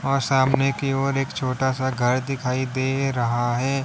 और सामने की और एक छोटा सा घर दिखाई दे रहा है।